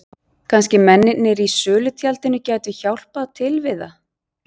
Kannski mennirnir í sölutjaldinu gætu hjálpað til við það.